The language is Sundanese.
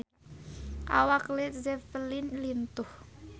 Awak Led Zeppelin lintuh